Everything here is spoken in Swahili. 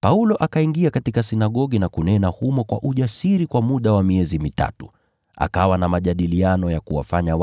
Paulo akaingia katika sinagogi na kunena humo kwa ujasiri kwa muda wa miezi mitatu, akijadiliana na watu na kuwashawishi